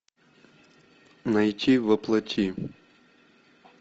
найти во плоти